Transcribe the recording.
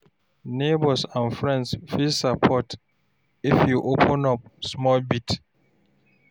Neighbours and friends fit support if you open up small bit.